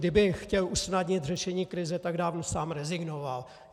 Kdyby chtěl usnadnit řešení krize, tak dávno sám rezignoval.